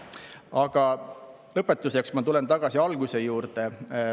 Aga lõpetuseks tulen ma tagasi alguse juurde.